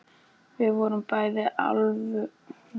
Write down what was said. Við vorum bæði alvörugefin og í djúpum þönkum.